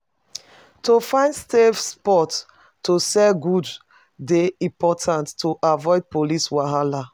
To find safe spots to sell goods dey important to avoid police wahala.